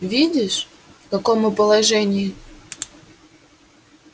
видишь в каком мы положении